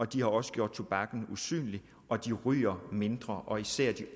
de har også gjort tobakken usynlig og de ryger mindre og især de